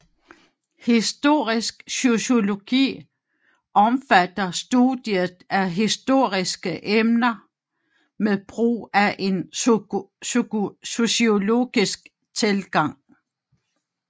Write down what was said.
Historisk sociologi omfatter studiet af historiske emner med brug af en sociologisk tilgang